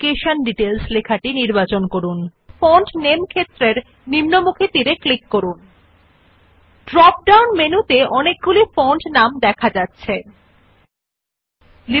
সুতরাং প্রথম টেক্সট শিক্ষা বিবরণ নির্বাচন করুন তারপর ফন্টের নাম ক্ষেত্রের নিম্নমুখী তীর ক্লিক করুন So first select the text education details then click on the down arrow in the font name field